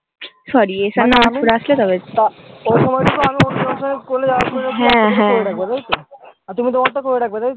তুমি তোমার টা করে রাখবে তাই তো